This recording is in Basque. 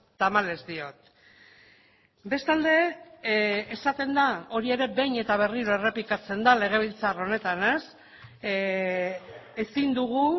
tamalez diot bestalde esaten da hori ere behin eta berriro errepikatzen da legebiltzar honetan ezin dugu